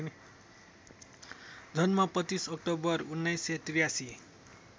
जन्म २५ अक्टोबर १९८३